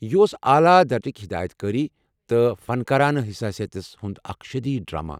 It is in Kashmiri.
یہ اوس اعلی درجٕچہِ ہدایتكٲری تہٕ فنکارانہٕ حساسیت ہیتھ اکھ شدیٖد ڈرامہ۔